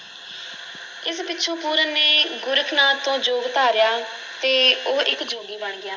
ਇਸ ਪਿੱਛੋਂ ਪੂਰਨ ਨੇ ਗੋਰਖ ਨਾਥ ਤੋਂ ਜੋਗ ਧਾਰਿਆ ਤੇ ਉਹ ਇੱਕ ਜੋਗੀ ਬਣ ਗਿਆ।